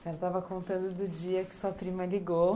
Você estava contando do dia que sua prima ligou.